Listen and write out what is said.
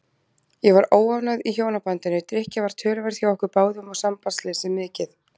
Ég var óánægð í hjónabandinu, drykkja var töluverð hjá okkur báðum og sambandsleysið mikið.